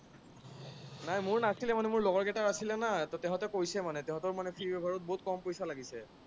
নাই মোৰ নাছিলে মানে, মোৰ লগৰ কেইটাৰ আছলে না, তাহাঁতে কৈছে মানে তাহাঁতৰ বহুত কম পইচা লাগিছে।